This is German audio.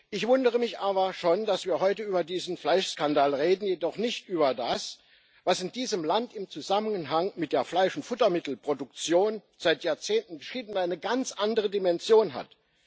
Ich wundere mich aber schon, dass wir heute über diesen Fleischskandal reden, jedoch nicht über das, was in diesem Land im Zusammenhang mit der Fleisch und Futtermittelproduktion seit Jahrzehnten entschieden eine ganz andere Dimension hat.